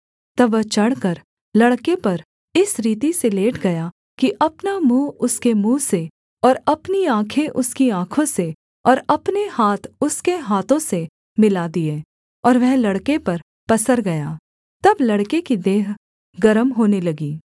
तब वह चढ़कर लड़के पर इस रीति से लेट गया कि अपना मुँह उसके मुँह से और अपनी आँखें उसकी आँखों से और अपने हाथ उसके हाथों से मिला दिये और वह लड़के पर पसर गया तब लड़के की देह गर्म होने लगी